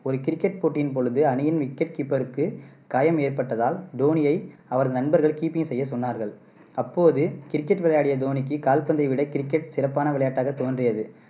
ஒரு கிரிக்கெட் போட்டியின் பொழுது அணியின் wicket keeper க்கு காயம் ஏற்ப்பட்டதால் தோனியை அவரது நண்பர்கள் keeping செய்ய சொன்னார்கள். அப்போது கிரிக்கெட் விளையாடிய தோனிக்கு கால்பந்தை விட கிரிக்கெட் சிறப்பான விளையாட்டாக தோன்றியது.